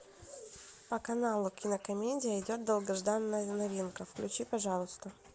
по каналу кинокомедия идет долгожданная новинка включи пожалуйста